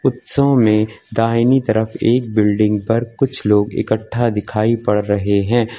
उत्सव में दाहिनी तरफ एक बिल्डिंग पर कुछ लोग इकट्ठा दिखाई पड़ रहे हैं।